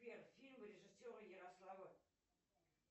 сбер фильмы режиссера ярослава